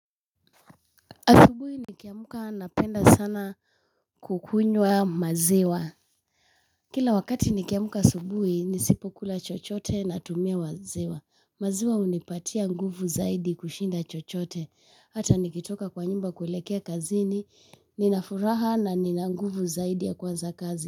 Asubuhi nikiamuka napenda sana kukunywa maziwa. Kila wakati nikiamuka asubuhi nisipo kula chochote natumia maziwa. Maziwa hunipatia nguvu zaidi kushinda chochote. Hata nikitoka kwa nyumba kulekea kazini, ninafuraha na nina nguvu zaidi ya kuanza kazi.